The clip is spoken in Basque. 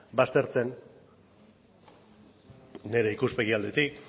baztertze n nire ikuspegi aldetik